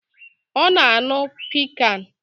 Ọ na-aṅụ piccan